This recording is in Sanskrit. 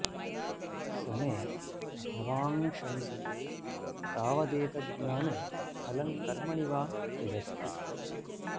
स मे भवाञ्शंसतु तावदेत ज्ज्ञाने फलं कर्मणि वा यदस्ति